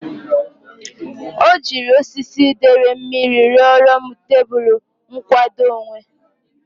O jiri osisi dere mmiri ruru m tebulu nkwadoonwe.